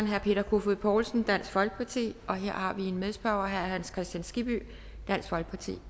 herre peter kofod poulsen dansk folkeparti og her har vi en medspørger herre hans kristian skibby dansk folkeparti